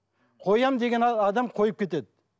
қоямын деген адам қойып кетеді